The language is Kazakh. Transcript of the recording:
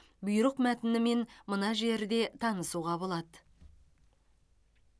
бұйрық мәтінімен мына жерден танысуға болады